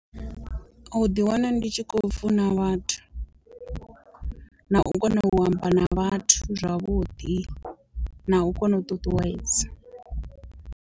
U ḓi wana ndi tshi kho funa vhathu, na u kona u amba na vhathu zwavhuḓi, na u kona u ṱuṱuwedza.